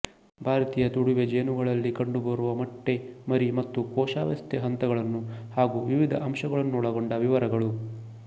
ಭಾರತೀಯ ತುಡಿವೆ ಜೇನುಗಳಲ್ಲಿ ಕಂಡುಬರುವ ಮೊಟ್ಟೆ ಮರಿ ಮತ್ತು ಕೋಶಾವಸ್ಥೆ ಹಂತಗಳನ್ನು ಹಾಗೂ ವಿವಿಧ ಅಂಶಗಳನ್ನೊಳಗೊಂಡ ವಿವರಗಳು